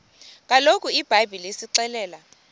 kaloku ibhayibhile isixelela